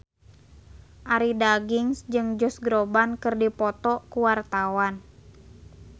Arie Daginks jeung Josh Groban keur dipoto ku wartawan